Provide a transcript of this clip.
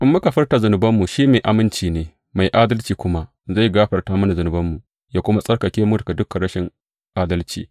In muka furta zunubanmu, shi mai aminci ne, mai adalci kuma, zai gafarta mana zunubanmu, yă kuma tsarkake mu daga dukan rashin adalci.